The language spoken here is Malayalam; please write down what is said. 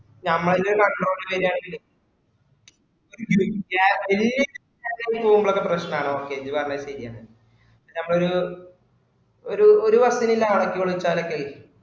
നമ്മളതെ control ചെയ്യാൻ വിചാരിച്ചി ഒരു വല്യ ആള്ഒക്കെ പോവുമ്പോ പ്രശ്നാണ് okay ഇഞ്ഞു പറഞ്ഞത് ശെരിയാണ നമ്മളൊരു ഒരു bus നുള്ള ആളൊക്കെഉള്ളുച്ചാലായി